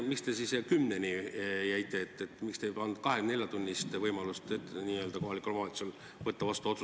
Miks te siis kella kümne juurde pidama jäite, miks te ei andnud kohalikule omavalitsusele võimalust võtta otsuseid vastu 24 tunni kohta?